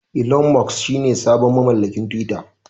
Elon Musk shine sabon mamallakin twitter.